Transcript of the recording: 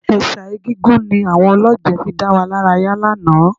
Ẹ̀ṣà Egúngún ni àwọn olọ́jẹ̀ fi dá wa lára yá lánàá